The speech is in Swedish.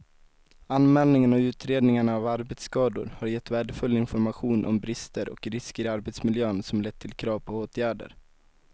Anmälningarna och utredningarna av arbetsskador har gett värdefull information om brister och risker i arbetsmiljön som lett till krav på åtgärder.